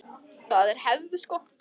Það er hefð!